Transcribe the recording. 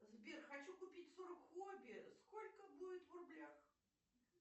сбер хочу купить сорок хоби сколько будет в рублях